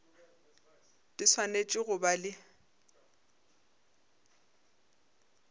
di swanetše go ba le